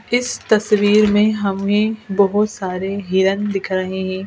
इस तस्वीर में हमें बहोत सारे हिरण दिख रहे हैं.